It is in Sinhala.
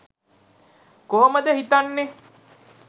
කොහොමද හිතන්නෙ?